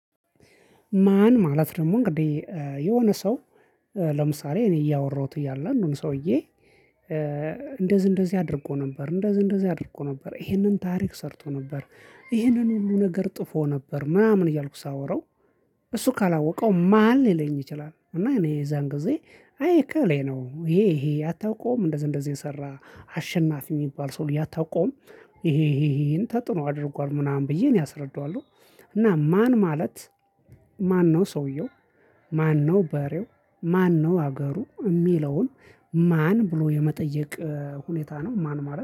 ማን ማለት ደግሞ እንግዲህ የሆነ ሰው ለምሳሌ እኔ እያወራሁት እያለ አሁን ሰውዬ እንደዚህ እንደዚህ አድርጎ ነበር እንደዚህ እንደዚህ አድርጎ ነበር ይሄንን ታሪክ ሰርቶ ነበር ይሄንን ሁሉ ነገር ጥፎ ነበር ምናምን እያልኩ ሳወራው እሱ ካላወቀው ማን ሊለኝ ይችላል? እና እኔ የዛን ጊዜ አይከሌ ነው ይሄ ይሄ አታውቀውም እንደዚህ እንደዚህ የሰራ አሸናፊ የሚባል ሰው አታውቀውም። ይሄን ይሄን ተጥኖ አድርጓል ምናምን ብዬ እኔ አስረዳዋለሁ። እና ማን ማለት ማን ነው ሰውየው? ማን ነው በሬው? ማን ነው ሀገሩ የሚለውን ማን ብሎ የመጠየቅ ሁኔታ ነው? ማን ማለት